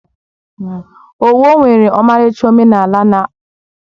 Owo nwere ọmarịcha omenala na akụkọ ihe mere eme.